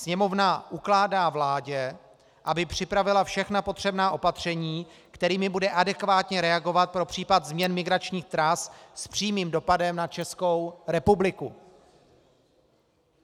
Sněmovna ukládá vládě, aby připravila všechna potřebná opatření, kterými bude adekvátně reagovat pro případ změn migračních tras s přímým dopadem na Českou republiku.